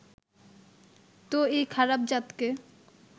তো এই খারাপ-জাতকে